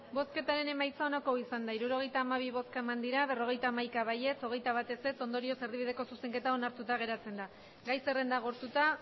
emandako botoak hirurogeita hamabi bai berrogeita hamaika ez hogeita bat ondorioz erdibideko zuzenketa onartuta geratzen da gai zerrenda agortuta